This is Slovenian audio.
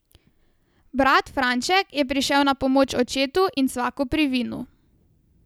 Brat Franček je prišel na pomoč očetu in svaku pri vinu.